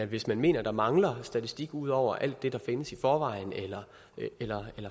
hvis man mener at der mangler statistik ud over alt det der findes i forvejen eller